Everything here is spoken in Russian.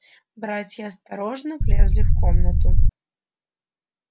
братья осторожно влезли в комнату